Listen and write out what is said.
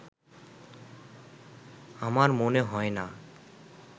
আমার মনে হয় না